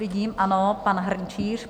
Vidím, ano, pan Hrnčíř.